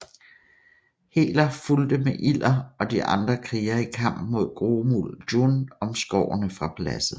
Heler fulgte med Ilder og de andre krigere i kamp mod Grohmul Djunn om Skårene fra Paladset